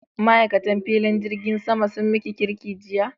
Ma'aikatan filin jirgin sama sun miki kirki jiya?